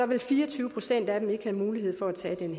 vil fire og tyve procent af dem ikke have mulighed for at tage den